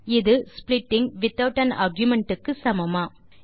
இது splitting without an argument க்கு சமமா